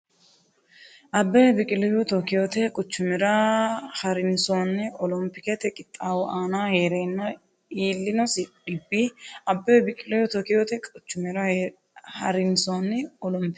Abbebe Biqilihu Tookkiyote quchumira ha’rinsoonni olompikete qixxaawo aana hee’reenna iillinosi dhibbi Abbebe Biqilihu Tookkiyote quchumira ha’rinsoonni olompikete qixxaawo aana hee’reenna.